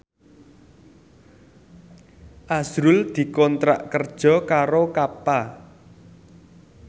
azrul dikontrak kerja karo Kappa